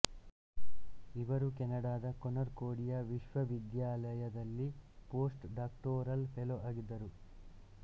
ಇವರು ಕೆನಡಾದ ಕೊನ್ಕೊರ್ಡಿಯಾ ವಿಶ್ವವಿದ್ಯಾಲಯದಲ್ಲಿ ಪೋಸ್ಟ್ ಡಾಕ್ಟೋರಲ್ ಫೆಲೋ ಆಗಿದ್ದರು